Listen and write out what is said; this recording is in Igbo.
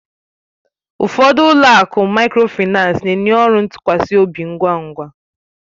Ụfọdụ ụlọ akụ Mikrofaịnsi na-enye ọrụ ntụkwasị obi ngwa ngwa